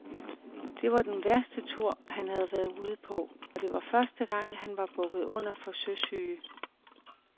Det var den værste tur, han havde været ude på, og det var første gang, han var bukket under for søsyge.